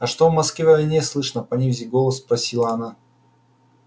а что в москве о войне слышно понизив голос спросила она